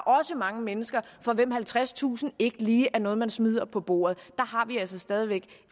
også mange mennesker for hvem halvtredstusind ikke lige er noget man smider på bordet der har vi altså stadig væk